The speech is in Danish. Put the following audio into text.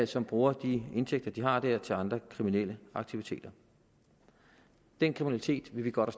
som bruger de indtægter de har der til andre kriminelle aktiviteter den kriminalitet vil vi godt